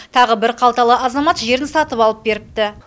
тағы бір қалталы азамат жерін сатып алып беріпті